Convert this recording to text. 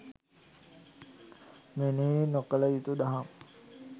මෙනෙහි නොකළ යුතු දහම්